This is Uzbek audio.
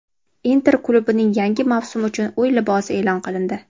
"Inter" klubining yangi mavsum uchun uy libosi e’lon qilindi.